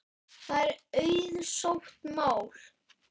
Það er auðsótt mál.